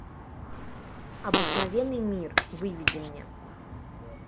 обыкновенный мир выведи мне